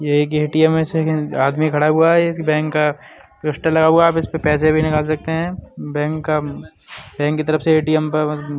ये एक एटीएम है। एक आदमी खड़ा हुआ है। इस बैंक का लगा हुआ है। आप इसपे पैसे भी निकल सकते हैं। बैंक का बैंक की तरफ से एटीएम --